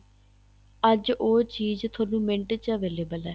ਅੱਜ ਉਹ ਚੀਜ਼ ਤੁਹਾਨੂੰ ਮਿੰਟ ਚ available ਹੈ